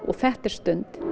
þetta er stund